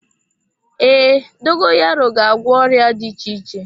Ee, dogoyaro ga-agwọ ọrịa dị iche iche.